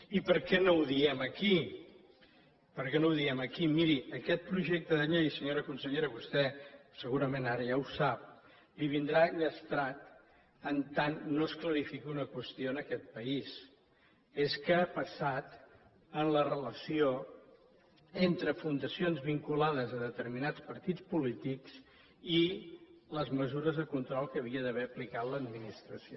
i per què no ho diem aquí per què no ho diem aquí miri aquest projecte de llei senyora consellera vostè segurament ara ja ho sap li vindrà llastrat mentre no es clarifiqui una qüestió en aquest país que és què ha passat en la relació entre fundacions vinculades a determinats partits polítics i les mesures de control que havia d’haver aplicat l’administració